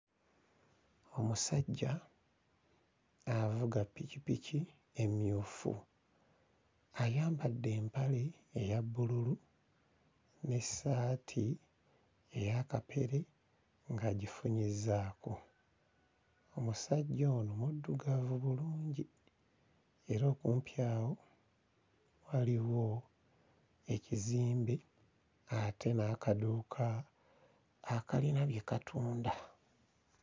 Omusajja avuga ppikipiki emmyufu. Ayambadde empale eya bbululu n'essaati eya kapere ng'agifunyizzaako. Omusajja ono muddugavu bulungi era okumpi awo waliwo ekizimbe ate n'akaduuka akalina bye katunda.